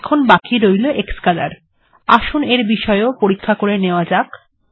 এখন বাকি রইল ক্সকোলোর আসুন এর বিষয় এও পরীক্ষা করে নেওয়া যাক